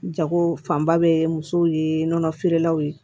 Jago fanba bɛ musow ye nɔnɔ feerelaw ye